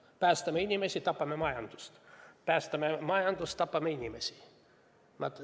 Kas päästame inimesi ja tapame majandust või päästame majandust ja tapame inimesi?